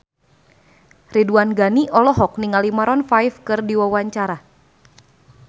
Ridwan Ghani olohok ningali Maroon 5 keur diwawancara